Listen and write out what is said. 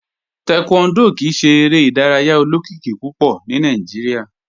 Taekwondo kìí ṣè èrè idàrayà olókìkí púpọ̀ ní Nàìjíríà.